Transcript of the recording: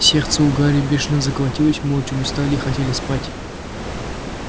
сердце у гарри бешено заколотилось мы очень устали и хотели спать